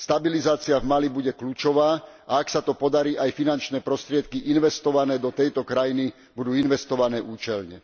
Stabilizácia v Mali bude kľúčová a ak sa to podarí, aj finančné prostriedky investované do tejto krajiny budú investované účelne.